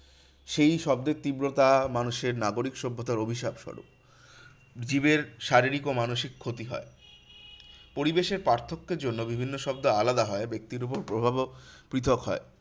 সেই শব্দের তীব্রতা মানুষের নাগরিক সভ্যতার অভিশাপ সরূপ। জীবের শারীরিক ও মানসিক ক্ষতি হয়। পরিবেশের পার্থক্যের জন্য বিভিন্ন শব্দ আলাদা হয় ব্যাক্তির ওপর প্রভাবও পৃথক হয়।